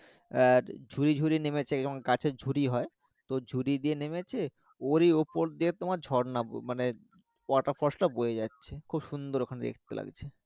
আর ঝুড়ি ঝুড়ি নেমেছে যেমন গাছের ঝুড়ি হয় তো ঝুড়ি দিয়ে নেমেছে ওরই ওপর দিয়ে তোমার ঝর্ণা মানে waterfall ta বয়ে যাচ্ছে খুব সুন্দর ওখানে দেখতে লাগছে